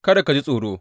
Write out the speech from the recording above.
Kada ka ji tsoro.